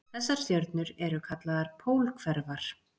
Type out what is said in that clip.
Þessar stjörnur eru kallaðar pólhverfar.